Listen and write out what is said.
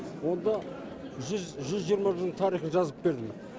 онда жүз жиырма жылдың тарихын жазып бердім